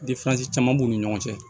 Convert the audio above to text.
caman b'u ni ɲɔgɔn cɛ